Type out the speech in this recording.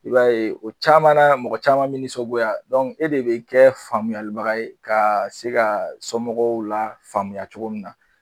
I b'a ye o caman na mɔgɔ caman bɛ nisɔngoya e de bɛ kɛ faamuyalibaga ye ka se ka somɔgɔw lafaamuyaya cogo min na